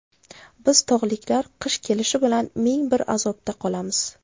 Biz tog‘liklar qish kelishi bilan ming bir azobda qolamiz.